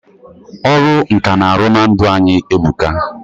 Ọrụ nkà na-arụ na ndụ anyị e buka.